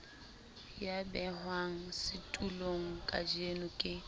ya behwang setulong kajeno ke